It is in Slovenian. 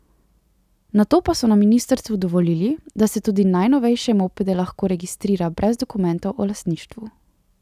Nato pa so na ministrstvu dovolili, da se tudi novejše mopede lahko registrira brez dokumentov o lastništvu.